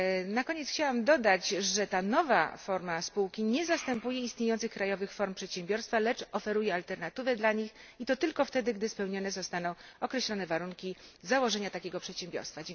Na koniec chciałam dodać, że ta nowa forma spółki nie zastępuje istniejących krajowych form przedsiębiorstwa, lecz oferuje alternatywę dla nich, i to tylko wtedy, gdy spełnione zostaną określone warunki założenia takiego przedsiębiorstwa.